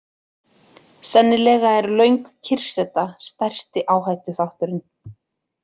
Sennilega er löng kyrrseta stærsti áhættuþátturinn.